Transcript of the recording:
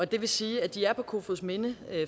det vil sige at de er på kofoedsminde